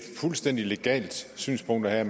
fuldstændig legalt synspunkt at have